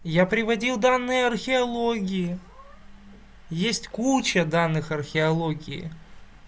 я приводил данные археологии есть куча данных археологии